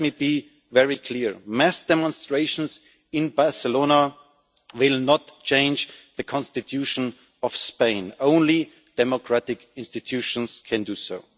Let me be very clear mass demonstrations in Barcelona will not change the Constitution of Spain. Only democratic institutions can do